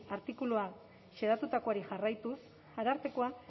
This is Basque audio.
artikuluan xedatutakoari jarraituz arartekoa